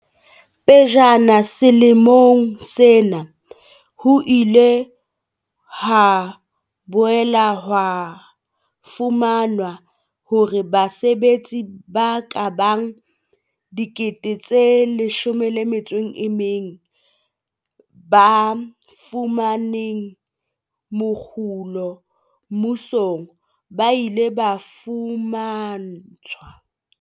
Pejana selemong sena, ho ile ha boela ho fumanwa hore basebetsi ba kabang 16 000 ba fumanang mokgolo mmusong ba ile ba fuma ntshwa